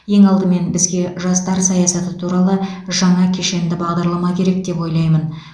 ең алдымен бізге жастар саясаты туралы жаңа кешенді бағдарлама керек деп ойлаймын